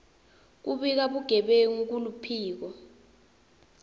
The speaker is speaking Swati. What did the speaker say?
kubika bugebengu kuluphiko